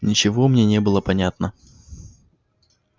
ничего мне не было понятно